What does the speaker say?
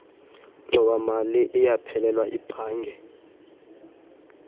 ngxowamali iyaphelelwa ibhange